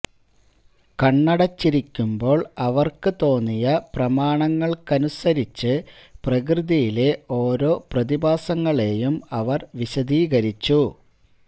കണ്ണടച്ചിരിക്കുമ്പോൾ അവർക്ക് തോന്നിയ പ്രമാണങ്ങൾക്കനുസരിച്ച് പ്രകൃതിയിലെ ഓരോ പ്രതിഭാസങ്ങളെയും അവർ വിശദീകരിച്ചു